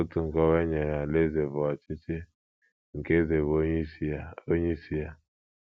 Otu nkọwa e nyere alaeze bụ ọchịchị nke eze bụ onyeisi ya. onyeisi ya.